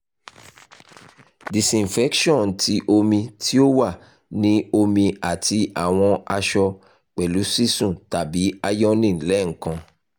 disinfection ti omi ti o wa ni omi ati awọn aṣọ pẹlu sisun tabi ironing lẹẹkan